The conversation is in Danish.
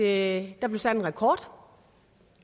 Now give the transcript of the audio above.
at der blev sat en rekord